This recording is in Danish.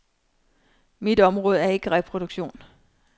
Mit område er ikke reproduktion.